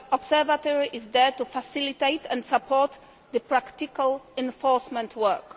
The Observatory is there to facilitate and support the practical enforcement work.